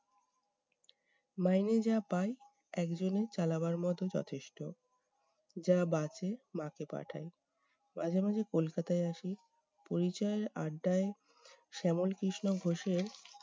মাইনে যা পাই একজনে চালাবার মতো যথেষ্ট। যা বাঁচে মাকে পাঠাই। মাঝেমাঝে কলকাতায় আসি পরিচয়ে আড্ডায় শ্যামল কৃষ্ণ ঘোষের